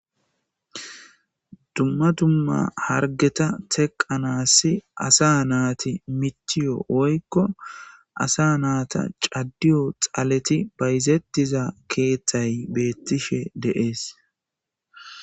Dumma dumma hargeta tekkanaasi asa nati mittiyo woyko asa naata caddiyo xaaleti bayzettiiza keththayi beettishe de'es.